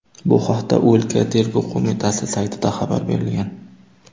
Bu haqda o‘lka Tergov qo‘mitasi saytida xabar berilgan .